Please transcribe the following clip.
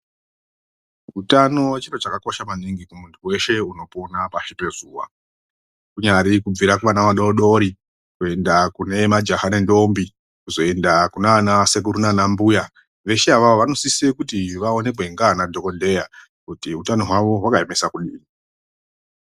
Utano chiro chakakosha maningi ,kumunhu weshe unopona pashi pezuva, kunyari kubvira kuvana vadodori, kuenda majaha nedhombi ,kuzoenda kunana sekuru nana mbuya vashe avava vanosisa kuti vaonekwe nana dhokoteya kuti hutano hwawo wakayemiswa kudii.